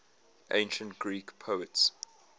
ancient greek poets